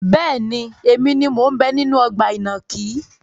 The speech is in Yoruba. Bẹ́ẹ̀ni, èmi ni mo ń bẹ nínú ọgbà ìnàkí.